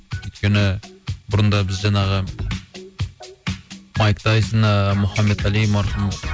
өйткені бұрында біз жаңағы майк тайсон ыыы мұхамед али марқұм